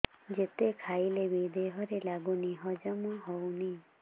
ଯେତେ ଖାଇଲେ ବି ଦେହରେ ଲାଗୁନି ହଜମ ହଉନି